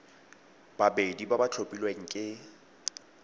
babedi ba ba tlhophilweng ke